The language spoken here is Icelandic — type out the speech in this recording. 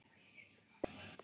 Börn: Íris, María og Bjarki.